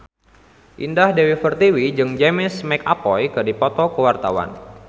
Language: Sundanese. Indah Dewi Pertiwi jeung James McAvoy keur dipoto ku wartawan